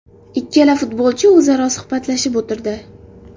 Ikkala futbolchi o‘zaro suhbatlashib o‘tirdi.